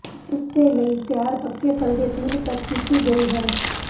ਇਸ ਦੇ ਲਈ ਤਿਆਰ ਪੱਕੇ ਫਲ ਦੇ ਪੀਲ ਤੱਕ ਕੀਤੀ ਗਈ ਹੈ